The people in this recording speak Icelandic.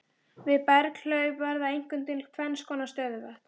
Við berghlaup verða einkum til tvennskonar stöðuvötn.